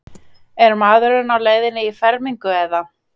Er maðurinn á leiðinni í fermingu eða?